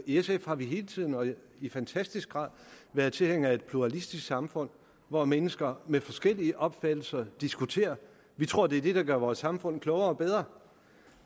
i sf har vi hele tiden i fantastisk grad været tilhængere af et pluralistisk samfund hvor mennesker med forskellige opfattelser diskuterer vi tror at det er det der gør vores samfund klogere og bedre